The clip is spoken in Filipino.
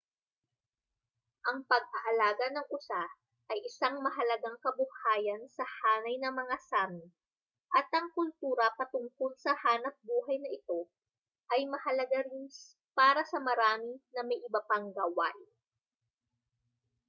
ang pag-aalaga ng usa ay isang mahalagang kabuhayan sa hanay ng mga sámi at ang kultura patungkol sa hanapbuhay na ito ay mahalaga rin para sa marami na may iba pang gawain